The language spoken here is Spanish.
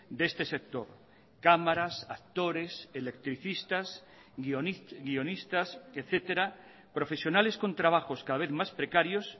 de este sector cámaras actores electricistas guionistas etcétera profesionales con trabajos cada vez más precarios